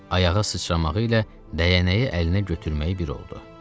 Ayağa sıçramağı ilə dəyənəyi əlinə götürməyi bir oldu.